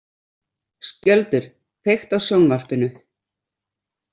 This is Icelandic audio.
Skjöldur, kveiktu á sjónvarpinu.